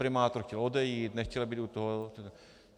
Primátor chtěl odejít, nechtěl být u toho.